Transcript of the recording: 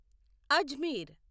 Ajmer